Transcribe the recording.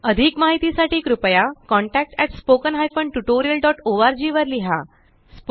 अधिक माहिती साठी कृपया contactspoken tutorialorg वर लिहा